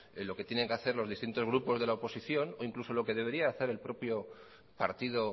lo que tienen que hacer los distintos grupos de la oposición o incluso lo que debería hacer el propio partido